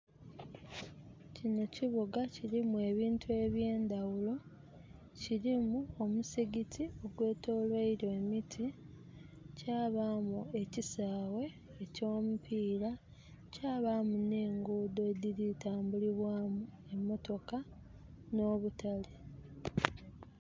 Kino kibuga kirimu ebintu eby' ndawulo. Kirimu omuzikiti ogweitolerebwa emiti. Kyabaamu ekisaawe ekyo mupiira, kyabaamu ne nguudo ediritambulibwamu emotoka no butaale.